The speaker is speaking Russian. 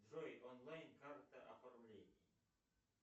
джой онлайн карта оформление